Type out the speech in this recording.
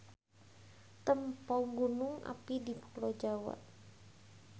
Tempo Gunung api di pulo Jawa.